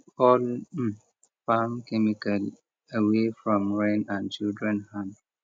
keep all um farm chemical away from rain and children hand